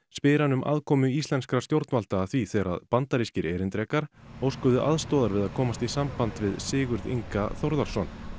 spyr hann um aðkomu íslenskra stjórnvalda að því þegar bandarískir erindrekar óskuðu aðstoðar við að komast í samband við Sigurð Inga Þórðarson